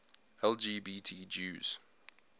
lgbt jews